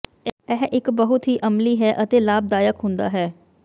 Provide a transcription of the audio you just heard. ਇਹ ਇੱਕ ਬਹੁਤ ਹੀ ਅਮਲੀ ਹੈ ਅਤੇ ਲਾਭਦਾਇਕ ਹੁੰਦਾ ਹੈ